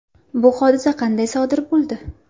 Bu hodisa qanday sodir bo‘ldi?